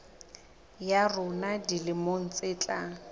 ya rona dilemong tse tlang